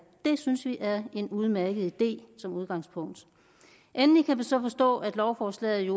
det synes vi er en udmærket idé som udgangspunkt endelig kan vi så forstå at lovforslaget